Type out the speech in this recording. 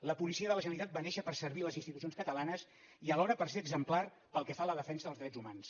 la policia de la generali·tat va néixer per servir les institucions catalanes i alhora per ser exemplar pel que fa a la defensa dels drets hu·mans